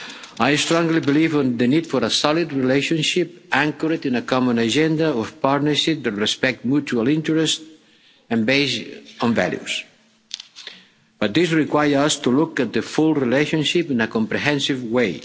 I strongly believe in the need for a solid relationship anchored in a common agenda of partnership that respects mutual interest and is based on values, but this requires us to look at the full relationship in a comprehensive